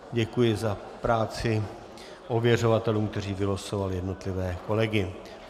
Děkuji za práci ověřovatelům, kteří vylosovali jednotlivé kolegy.